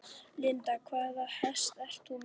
Linda: Hvaða hest ert þú með?